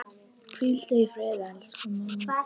Hvíldu í friði, elsku mamma.